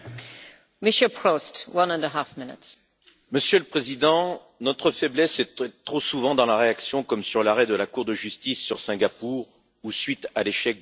Madame la Présidente, Monsieur le Président, notre faiblesse est d'être trop souvent dans la réaction, comme sur l'arrêt de la Cour de justice sur Singapour ou suite à l'échec du multilatéralisme.